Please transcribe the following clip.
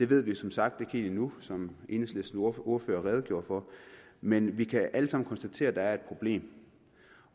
ved vi som sagt ikke endnu som enhedslistens ordfører redegjorde for men vi kan alle sammen konstatere at der er et problem